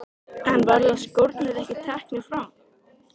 En verða skórnir ekki teknir fram?